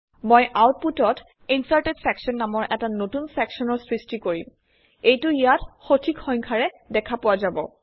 মই আউটপুটত ইনচাৰ্টেড ছেকশ্যন নামৰ এটা নতুন চেকচনৰ সৃষ্টি কৰিম এইটো ইয়াত সঠিক সংখ্যাৰে দেখা পোৱা যাব